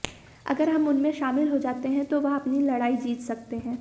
अगर हम उनमें शामिल हो जाते हैं तो वह अपनी लड़ाई जीत सकते हैं